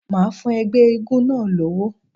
Màá fún ẹgbẹ́ eégún náà lówó.